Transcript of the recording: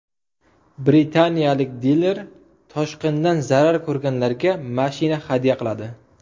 Britaniyalik diler toshqindan zarar ko‘rganlarga mashina hadya qiladi.